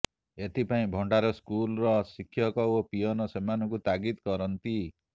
ଏଥିପାଇଁ ଭଣ୍ଡାର ସ୍କୁଲ୍ର ଶିକ୍ଷକ ଓ ପିଅନ୍ ସେମାନଙ୍କୁ ତାଗିଦ୍ କରନ୍ତି